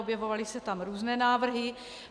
Objevovaly se tam různé návrhy.